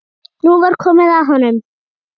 Nú væri komið að honum.